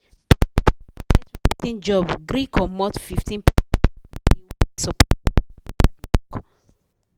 person wey colet writing job gree comot fifteen percent from money wey he suppose collect after the work